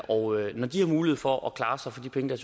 og når de har mulighed for at klare sig for de penge der